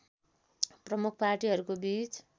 प्रमुख पार्टीहरूको बीच